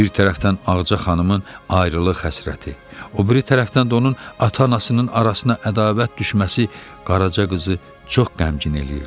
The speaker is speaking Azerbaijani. Bir tərəfdən Ağca xanımın ayrılıq həsrəti, o biri tərəfdən də onun ata-anasının arasına ədavət düşməsi Qaraca qızı çox qəmgin eləyirdi.